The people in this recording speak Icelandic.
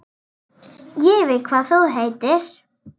Ég veit hvað þú heitir.